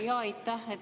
Aitäh!